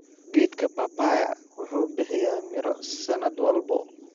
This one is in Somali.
Geedka papaya wuxuu bixiya miro sanad walba.